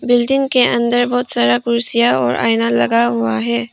Building के अंदर बहुत सारा कुर्सियां और आईना लगा हुआ है।